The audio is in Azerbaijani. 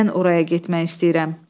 Mən oraya getmək istəyirəm.